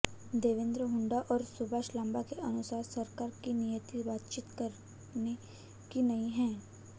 देवेंद्र हुड्डा और सुभाष लांबा के अनुसार सरकार की नीयत बातचीत करने की नहीं है